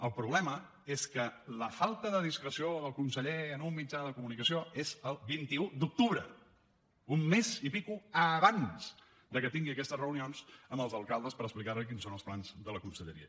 el problema és que la falta de discreció del conseller en un mitjà de comunicació és el vint un d’octubre un mes i escaig abans que tingui aquestes reunions amb els alcaldes per explicar los quins són els plans de la conselleria